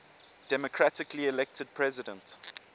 democratically elected president